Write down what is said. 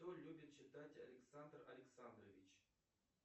что любит читать александр александрович